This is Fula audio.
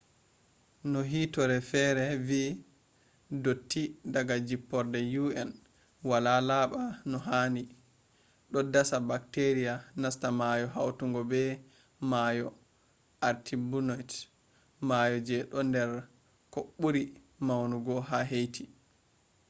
no hiitoore fere vi dotti daga jipporde un wala laba no handi do dasa bacteria nasta maayo hawtango be mayo artibonite, mayo je do nder ko buri maunogu ha haiti